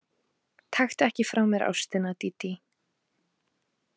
Taktu ekki frá mér ástina, Dídí.